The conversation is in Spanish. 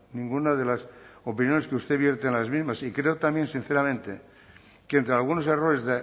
ninguna de las opiniones que usted vierte en las mismas y creo también sinceramente que entre algunos errores